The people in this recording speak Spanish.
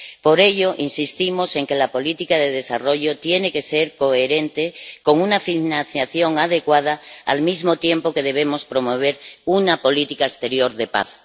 Por ello, insistimos en que la política de desarrollo tiene que ser coherente y contar con una financiación adecuada, al mismo tiempo que debemos promover una política exterior de paz.